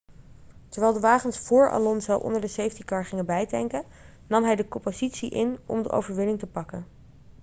terwijl de wagens vóór alonso onder de safety car gingen bijtanken nam hij de koppositie in om de overwinning te pakken